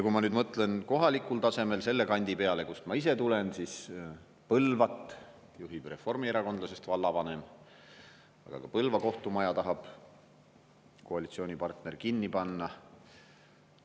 Kui ma nüüd mõtlen kohalikul tasemel selle kandi peale, kust ma ise tulen, siis Põlvat juhib reformierakondlasest vallavanem, aga ka Põlva kohtumaja tahab koalitsioonipartner kinni panna.